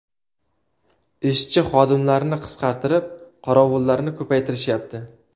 Ishchi-xodimlarni qisqartirib, qorovullarni ko‘paytirishyapti.